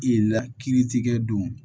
I la kiiritigɛ don